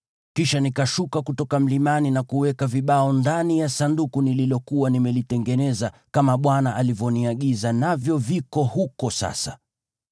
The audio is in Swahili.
Kisha nikashuka kutoka mlimani na kuweka vibao ndani ya Sanduku nililokuwa nimelitengeneza, kama Bwana alivyoniagiza, navyo viko huko sasa.